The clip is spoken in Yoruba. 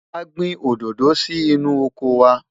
a gbìn òdodo sí inú ọkọ wa